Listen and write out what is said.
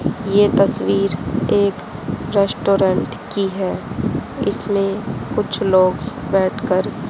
ये तस्वीर एक रेस्टोरेंट की है इसमें कुछ लोग बैठ कर--